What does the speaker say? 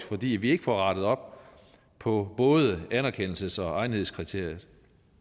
fordi vi ikke får rettet op på både anerkendelses og egnethedskriteriet